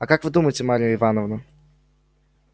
а как вы думаете марья ивановна